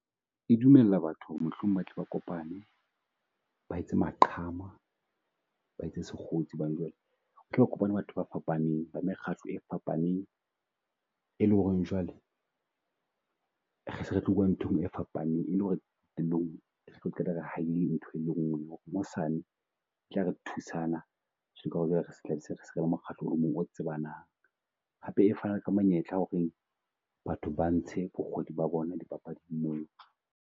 E dumella batho ho re mohlomong ba tle ba kopane, ba etse maqhama, ba etse sekgotsi hobane jwale kopanye batho ba fapaneng ba mekgatlo e fapaneng. E le ho reng jwale re se retlo bua ntho e nngwe e fapaneng e le ho re qeta re ha ele ntho e nngwe hosane tla re thusana mokgatlo o mong o tsebanang. Hape e fana ka monyetla ho reng batho ba ntshe bokgoni ba bona di papading mona.